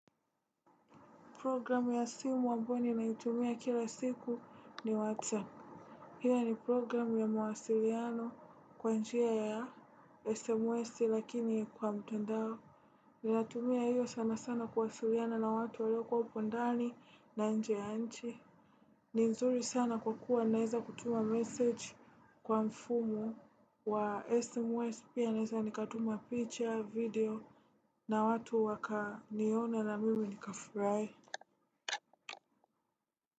Program ya simu ambayo ninaitumia kila siku ni Whatsapp. Hia ni program ya mawasiliano kwa njia ya SMS lakini kwa mtandao. Ninatumia hiyo sana kuwasiliana na watu waliopo ndani na nje ya nchi. Ni nzuri sana kwa kuwa naeza kutuma message kwa mfumo wa SMS pia naweza nikatuma picha video na watu wakaniona na mimi nikafurahi.